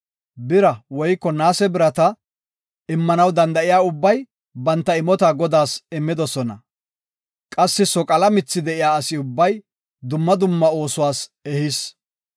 Bira woyko naase birata immanaw danda7iya ubbay banta imota Godaas immidosona. Qassi soqala mithi de7iya asi ubbay dumma dumma oosuwas ehis.